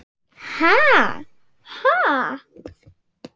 Ha, ha!